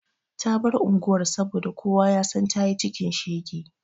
Ta bar unguwar saboda kowa ya san ta yi cikin shege.